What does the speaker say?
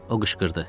o qışqırdı.